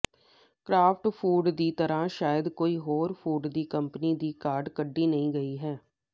craft Foods ਦੀ ਤਰ੍ਹਾਂ ਸ਼ਾਇਦ ਕੋਈ ਹੋਰ ਫੂਡ ਕੰਪਨੀ ਦੀ ਕਾਢ ਕੱਢੀ ਨਹੀਂ ਗਈ ਹੈ